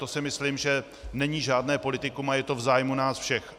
To si myslím, že není žádné politikum a je to v zájmu nás všech.